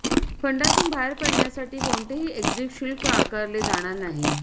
फंडातून बाहेर पडण्यासाठी कोणतेही एक्झिट शुल्क आकारले जाणार नाही